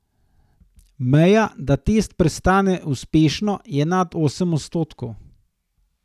Meja, da test prestane uspešno, je nad osem odstotkov.